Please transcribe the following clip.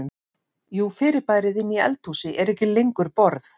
Jú fyrirbærið inni í eldhúsi er ekki lengur borð.